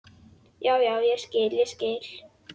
Já, já, ég skil, ég skil.